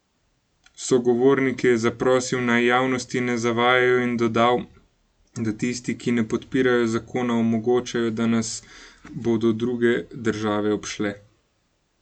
Sogovornike je zaprosil, naj javnosti ne zavajajo in dodal, da tisti, ki ne podpirajo zakona, omogočajo, da nas bodo druge države obšle.